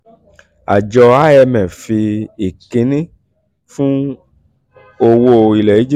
àjọ imf fi ìkíni fún owó ilẹ̀ egypt